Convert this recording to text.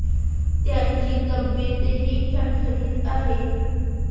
त्यांची तब्येतही ठणठणीत आहे.